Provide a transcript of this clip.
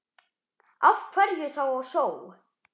Af hverju þá á sjó?